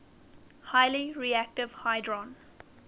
highly reactive hydrogen